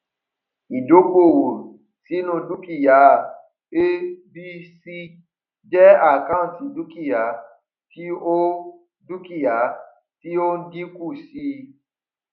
ìdókòwò sínu dúkìá abc jẹ account dúkìá tí ó dúkìá tí ó n dínkù sí i